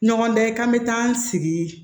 Ɲɔgɔndan ye k'an bɛ taa an sigi